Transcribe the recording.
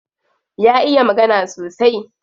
Ya iya magana sosai.